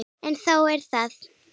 En þó það.